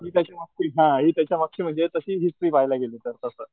हि त्याच्या मागची हा हि त्याच्या मागची तशी म्हणजे हिस्टरी पाहायला गेलं तर तस,